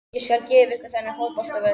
Ég skal gefa ykkur þennan fótboltavöll.